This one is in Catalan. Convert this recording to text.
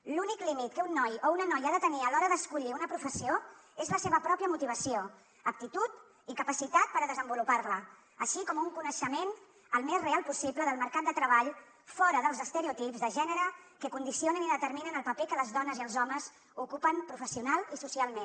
l’únic límit que un noi o una noia ha de tenir a l’hora d’escollir una professió és la seva pròpia motivació aptitud i capacitat per desenvolupar la així com un coneixement al més real possible del mercat de treball fora dels estereotips de gènere que condicionen i determinen el paper que les dones i els homes ocupen professionalment i socialment